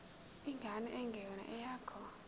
ingane engeyona eyakho